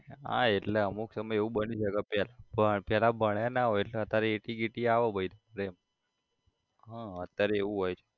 હા એટલે અમુક સમયે એવું બની શકે પેલા પેલા ભણ્યા ના હોય એટલે અત્યારે એટી ગેટી આવે પહી એમ હા અત્યારે એવું હોય છે